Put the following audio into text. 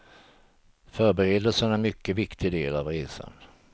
Förberedelserna är en mycket viktig del av resan.